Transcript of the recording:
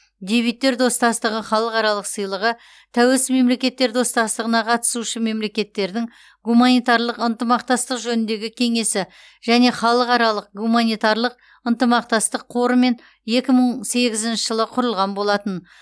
дебюттер достастығы халықаралық сыйлығы тәуелсіз мемлекеттер достастығына қатысушы мемлекеттердің гуманитарлық ынтымақтастық жөніндегі кеңесі және халықаралық гуманитарлық ынтымақтастық қорымен екі мың сегізінші жылы құрылған болатын